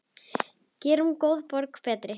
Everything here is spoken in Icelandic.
Gerum góða borg betri.